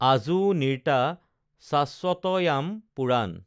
আজো নিৰ্তা শ্বাশ্বতয়াম পুৰান